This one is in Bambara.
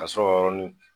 Ka sɔrɔ yɔrɔnin kelen